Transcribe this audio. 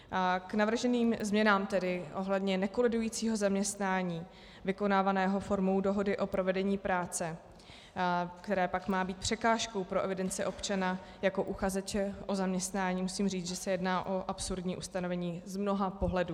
K navrženým změnám tedy ohledně nekolidujícího zaměstnání vykonávaného formou dohody o provedení práce, které pak má být překážkou pro evidenci občana jako uchazeče o zaměstnání, musím říct, že se jedná o absurdní ustanovení z mnoha pohledů.